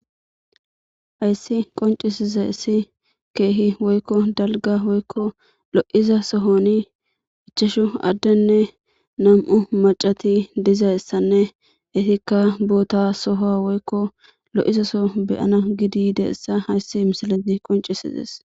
hayssi qoncisiza issi keehi woykko dalga woykko lo7iza sohoni ichashu addenne nam7u macati dizayssanne itikka boota soho woykko lo7izasoo beyana gidi deessa hayssi misilati qoncisides